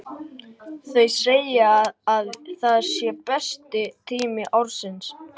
Þau segja að það sé besti tími ársins.